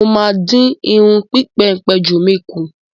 Mo máa dín irun ìpéǹpéjú mi kù.